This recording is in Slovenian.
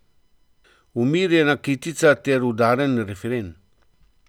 Umirjena kitica ter udaren refren.